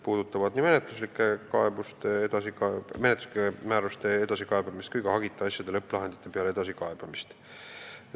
Silmas peetakse nii menetluslike määruste edasikaebamist kui ka hagita asjade lõpplahendite peale edasikaebamist.